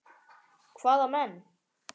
Hvaða menn?